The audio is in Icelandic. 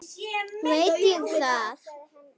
Veit ég það?